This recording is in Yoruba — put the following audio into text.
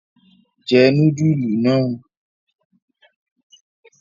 Jẹ núdúlù náà!